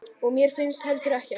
Og mér finnst heldur ekkert.